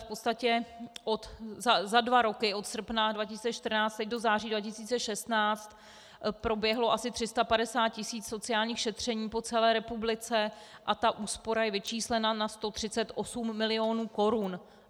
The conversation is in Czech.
V podstatě za dva roky, od srpna 2014 do září 2016, proběhlo asi 350 tisíc sociálních šetření po celé republice a ta úspora je vyčíslena na 138 milionů korun.